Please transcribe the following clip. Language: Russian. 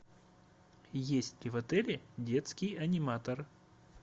есть ли в отеле детский аниматор